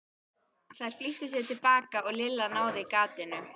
Þær flýttu sér til baka og Lilla náði gatinu.